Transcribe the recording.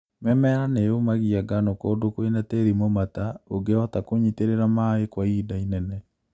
Mĩmera nĩyũmagia ngano kũndu kwĩna tĩri mũmata ũngĩhota kũnyitĩrĩra maĩĩ kwa ihinda inene